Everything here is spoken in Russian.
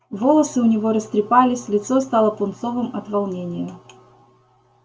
волосы у него растрепались лицо стало пунцовым от волнения